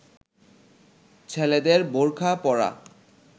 ছেলেদের বোরখা পরা